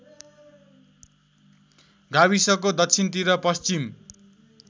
गाविसको दक्षिणतिर पश्चिम